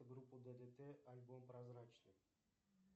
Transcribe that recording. группа ддт альбом прозрачный